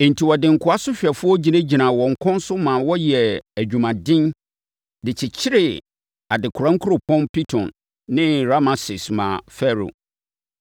Enti wɔde nkoa sohwɛfoɔ gyinagyinaa wɔn kɔn so ma wɔyɛɛ adwuma den de kyekyeree adekora nkuropɔn Pitom ne Rameses maa Farao.